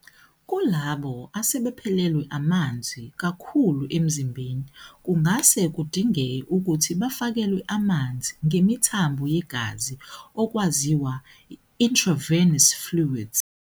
Kulabo asebephelelwe amanzi kakhulu emzimbeni, kungase kudingeke ukuthi bafakelwe amanzi ngemithambo yegazi okwaziwa, intravenous fluids.